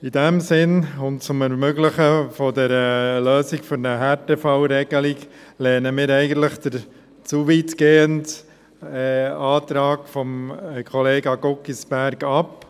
In diesem Sinn und zum Ermöglichen einer Lösung für eine Härtefallregelung lehnen wir den Antrag von Kollege Guggisberg ab.